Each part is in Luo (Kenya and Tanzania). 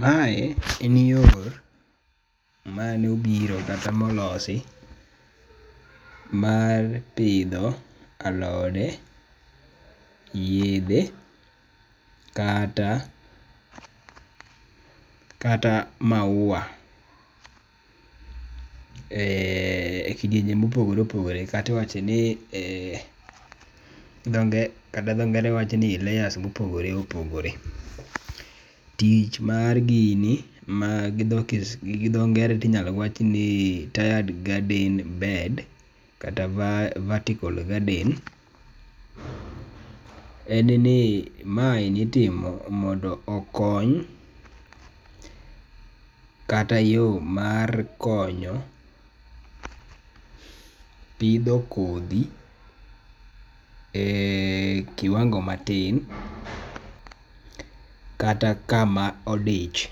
Mae en yor mane obiro kata ma olosi mar pidho alode, yedhe kata kata mauwa. Ekidienje mopogore opogore kata iwacho ni kata dho ngere wacho ni e layers mopogore opogore. Tich mar gini ma gi dho ngere to inyalo wach ni tiered bed kata vertical garden en ni maendi itimo mondo okony kata yo mar konyo pidho kodhi e kiwango kata kama odich.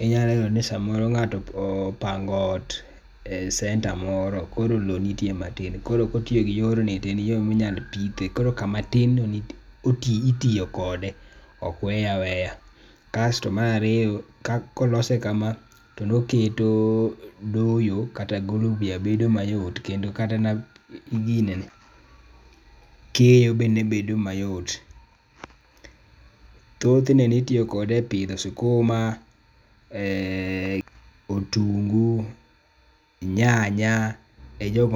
Inyalo yudo ni ng'ato opango ot e centre moro koro lowo nitie matin koro kotiyo gi yorni to en yo minyalo pithe koro kama tin no itiyo kode ok weye aweya. Kasto mar ariyo, kolose kama to oketo doyo kata golo buya bedo mayot to kata mana ginene keyo bedo mayot. Thothne ne itiyo kode e pidho sikuma, eh otungu, nyanya ejogo